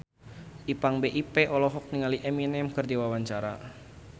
Ipank BIP olohok ningali Eminem keur diwawancara